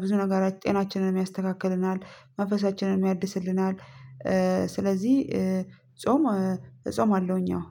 ብዙ ነገር ጤናችንን ያስተካክለናል መንፈሳችንንም ያድስልናል። እ ስለዚህ እ ጾም እጾማለሁኝ አዎ